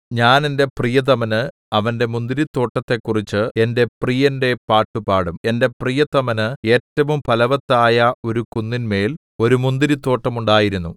ഞാൻ എന്റെ പ്രിയതമന് അവന്റെ മുന്തിരിത്തോട്ടത്തെക്കുറിച്ച് എന്റെ പ്രിയന്റെ പാട്ടുപാടും എന്റെ പ്രിയതമന് ഏറ്റവും ഫലവത്തായ ഒരു കുന്നിന്മേൽ ഒരു മുന്തിരിത്തോട്ടം ഉണ്ടായിരുന്നു